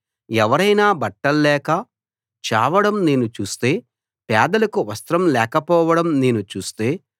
ఎవరైనా బట్టల్లేక చావడం నేను చూస్తే పేదలకు వస్త్రం లేకపోవడం నేను చూస్తే